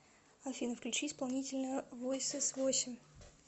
афина включи исполнителя войсесвосемь